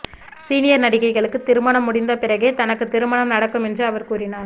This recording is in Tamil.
சீனியர் நடிகைகளுக்கு திருமணம் முடிந்த பிறகே எனக்கு திருமணம் நடக்கும் என்று அவர் கூறினார்